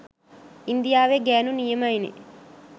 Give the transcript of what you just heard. ඉන්දියාවෙ ගෑනු නියමයිනෙ